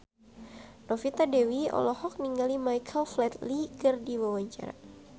Novita Dewi olohok ningali Michael Flatley keur diwawancara